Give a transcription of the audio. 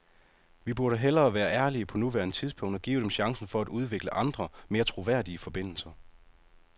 Vi burde hellere være ærlige på nuværende tidspunkt og give dem chancen for at udvikle andre, mere troværdige forbindelser.